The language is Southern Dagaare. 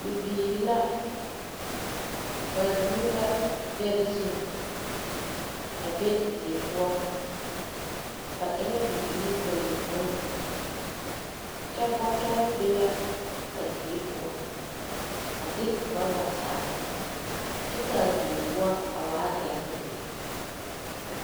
Bibiirila. Ba zeŋ la dɛre zu a be die poɔ ba e la bibiiri bayopõi kyɛ bɔtɔre be la a die poɔ a de urɔba zagere kyɛ ka die poɔ a waa dɛgere lɛ.